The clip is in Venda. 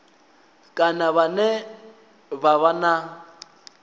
kana vhane vha vha na